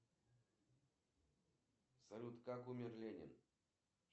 салют зарегистрируй меня на прием к терапевту на завтра